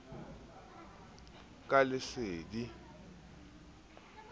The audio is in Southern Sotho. ka lesedi ho bohle ba